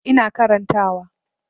Ina karanta wa